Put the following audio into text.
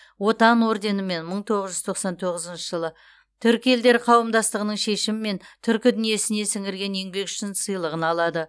отан орденімен мың тоғыз жүз тоқсан тоғызыншы жылы түркі елдері қауымдастығының шешімімен түркі дүниесіне сіңірген еңбегі үшін сыйлығын алады